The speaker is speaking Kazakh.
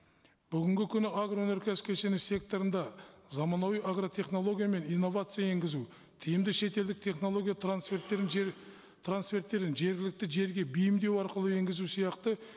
бүгінгі күні агроөнеркәсіп кешені секторында заманауи агротехнология мен инновация енгізу тиімді шетелдік технология трансферттерін трансферттерін жергілікті жерге бейімдеу арқылы енгізу сияқты